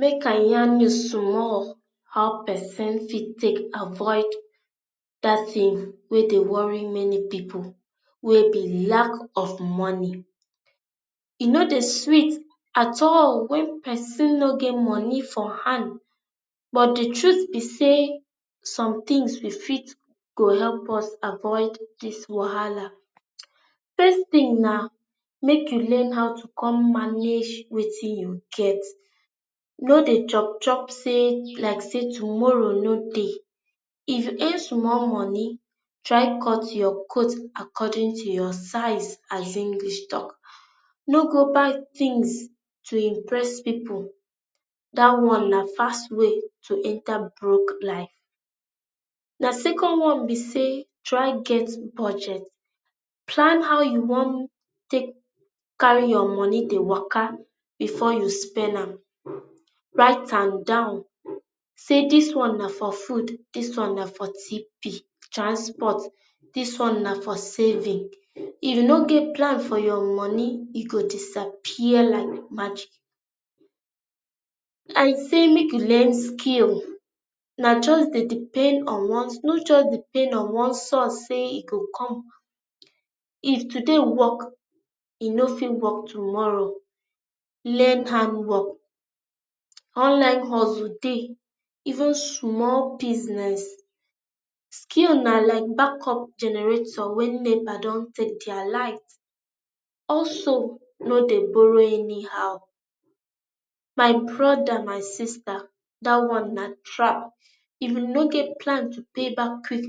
make i yarn you small, how person fit take avoid that thing wey dey worry many people wey be lack of money. e no dey sweet at all when person no get money for hand but the truth be say some things you fit go help us avoid this wahala. first thing na, make you learn how to come manage wetin you get. No dey chop chop say like say tomorrow no dey. if you earn small money, try cut your coat according to your size, as English talk. no go buy things to impress people. That one na fast way to enter broke life. na second one be say try get budget, plan how you wan take carry your money dey waka before you spend am. write am down. Say this one na for food, this wan na for TP, transport this one na for saving. if you no get plan for your money e go disappear like magic. i say make you learn skill. Na just dey depend on one thing no just depend on one source say e go come. if today work e no fit work tomorrow. learn hand work. online hustle Dey, even small busniess. Skill na like back up generator when NEPA dun take their light. Also no dey borrow anyhow, my brother my sister that one na trap. if you no get plan to pay back quick,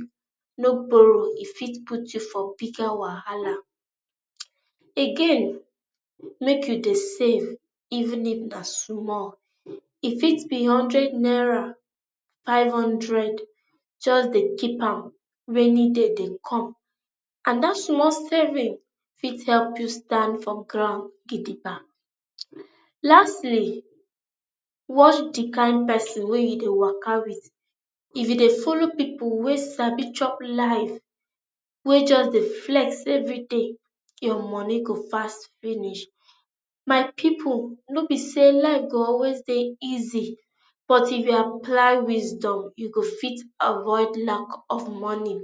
no borrow e fit put you for bigger wahala. Again make you dey save even if na small. e fit be hundred naira, five hundred just Dey keep am. rainy day dey come and that small saving fit help you stand for ground gidigba. lastly watch the kain person wey you dey waka with. if you dey follow people wey sabi chop life wey just Dey flex everyday, your money go fast finish. my people no be say life go alwyas dey easy but if you apply wisdom you fit avoid lack of money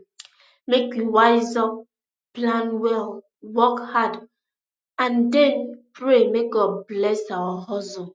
make you wise up, plan well, work hard and and then pray make god bless our hustle.